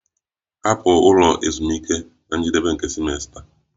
Hapụ ụlọ ezumike na njedebe nke simesta!